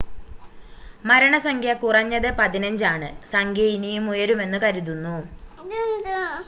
മരണസംഖ്യ കുറഞ്ഞത് 15 ആണ് സംഖ്യ ഇനിയും ഉയരുമെന്ന് കരുതുന്നു